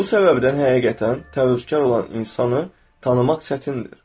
Bu səbəbdən həqiqətən təvəkkülkar olan insanı tanımaq çətindir.